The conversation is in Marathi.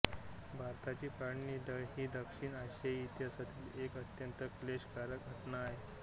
भारताची फाळणी ही दक्षिण आशियाई इतिहासातील एक अत्यंत क्लेशकारक घटना होती